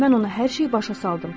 Mən ona hər şeyi başa saldım